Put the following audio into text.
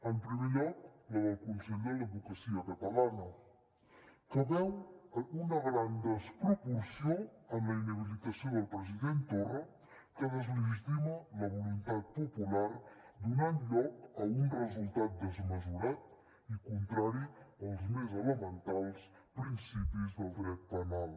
en primer lloc la del consell de l’advocacia catalana que veu una gran desproporció en la inhabilitació del president torra que deslegitima la voluntat popular i dona lloc a un resultat desmesurat i contrari als més elementals principis del dret penal